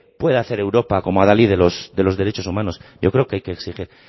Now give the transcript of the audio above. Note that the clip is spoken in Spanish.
puede hacer europa como a la ley de los derechos humanos yo creo que hay que exigir